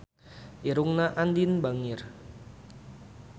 Irungna Andien bangir